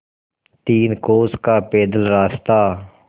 तीन कोस का पैदल रास्ता